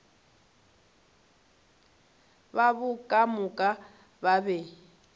babo ka moka ba be